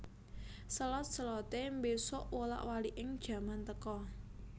Selot selote mbesuk wolak waliking jaman teka